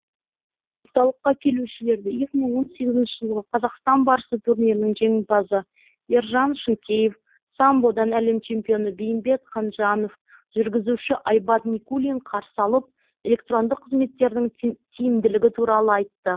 орталыққа келушілерді екі мың он сегізінші жылғы қазақстан барысы турнирінің жеңімпазы ержан шынкеев самбодан әлем чемпионы бейімбет қанжанов жүргізуші айбат никулин қарсы алып электрондық қызметтердің тиімділігі туралы айтты